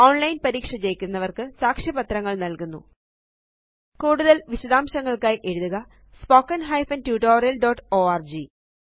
online പരീക്ഷ ജയിക്കുന്നവര്ക്ക് സാക്ഷ്യപത്രങ്ങള് നല്കുന്നു കൂടുതല് വിശദാംശങ്ങള്ക്കായി എഴുതുക spoken hyphen tutorial dot org